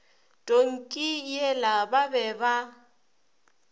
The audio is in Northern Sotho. tonki yela ba be ba